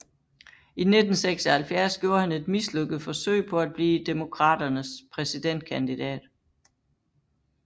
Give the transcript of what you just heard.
I 1976 gjorde han et mislykket forsøg på at blive Demokraternes præsidentkandidat